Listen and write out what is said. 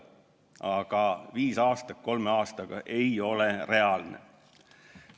Aga viis aastat kolme aastaga ei ole reaalne.